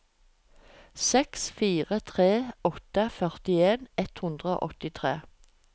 seks fire tre åtte førtien ett hundre og åttitre